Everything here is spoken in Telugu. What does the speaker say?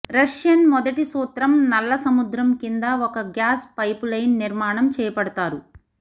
రష్యన్ మొదటి సూత్రం నల్ల సముద్రం కింద ఒక గ్యాస్ పైపులైన్ నిర్మాణం చేపడుతారు